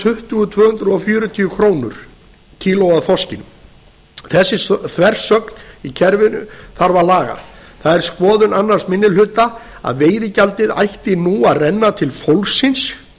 tuttugu til tvö hundruð fjörutíu krónur kílóið af þorski þessa þversögn í kerfinu þarf að laga það er skoðun annar minni hluta að veiðigjaldið ætti nú að renna til fólksins